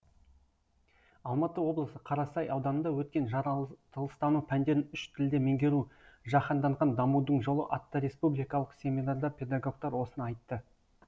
алматы облысы қарасай ауданында өткен жаратылыстану пәндерін үш тілде меңгеру жаһанданған дамудың жолы атты республикалық семинарда педагогтар осыны айтты